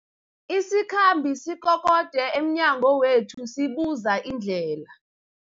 Isikhambi sikokode emnyango wethu sibuza indlela.